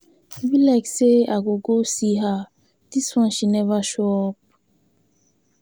E be like say I go go see her dis one she never show up.